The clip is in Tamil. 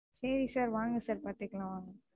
சேரி Sir வாங்க Sir பாத்துக்கலாம் வாங்க,